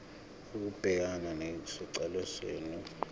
ukubhekana nesicelo senu